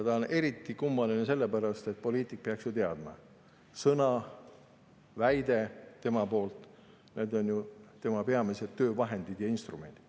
See on eriti kummaline sellepärast, et poliitik peaks ju teadma: sõna ja väide on tema peamised töövahendid ja -instrumendid.